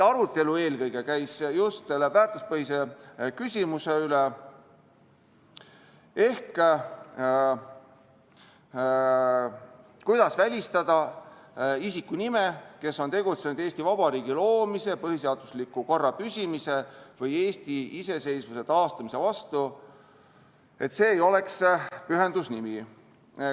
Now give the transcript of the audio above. Arutelu käis eelkõige just selle väärtuspõhise küsimuse ehk selle üle, kuidas välistada see, et sellise isiku nimi, kes on tegutsenud Eesti Vabariigi loomise, põhiseadusliku korra püsimise või Eesti iseseisvuse taastamise vastu, oleks pühendusnimi.